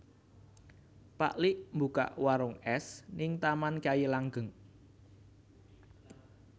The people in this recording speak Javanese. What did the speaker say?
Pak lik mbukak warung es ning Taman Kyai Langgeng